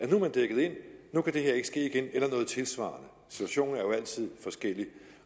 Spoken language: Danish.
nu er dækket ind at nu kan det her ikke ske igen eller noget tilsvarende situationen er jo altid forskellig